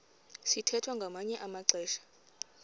sithwethwa ngamanye amaxesha